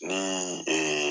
Ni